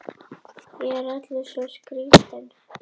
Ég er allur svo skrýtinn.